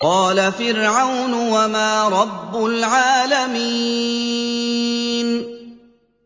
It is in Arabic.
قَالَ فِرْعَوْنُ وَمَا رَبُّ الْعَالَمِينَ